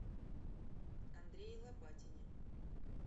андрее лопатине